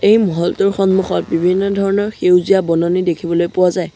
এই মহলটোৰ সন্মুখত বিভিন্ন ধৰণৰ সেউজীয়া বননি দেখিবলৈ পোৱা যায়।